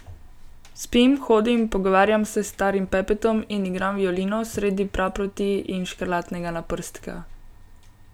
Spim, hodim, pogovarjam se s starim Pepetom in igram violino sredi praproti in škrlatnega naprstka.